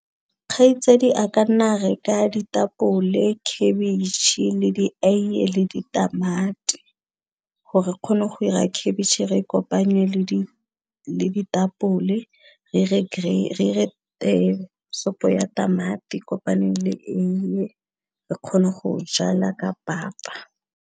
Kgaitsadi a ka nna re ka ditapole, khabitšhe, le dieiye le ditamati gore kgone go 'ira khabitšhe re e kopanye le ditapole re ire sopo ya tamati kopaneng le eiye re kgone go jela ka papa.